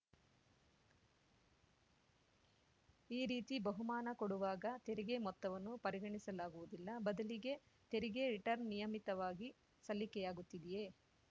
ಈ ರೀತಿ ಬಹುಮಾನ ಕೊಡುವಾಗ ತೆರಿಗೆ ಮೊತ್ತವನ್ನು ಪರಿಗಣಿಸಲಾಗುವುದಿಲ್ಲ ಬದಲಿಗೆ ತೆರಿಗೆ ರಿಟರ್ನ್‌ ನಿಯಮಿತವಾಗಿ ಸಲ್ಲಿಕೆಯಾಗುತ್ತಿದೆಯೇ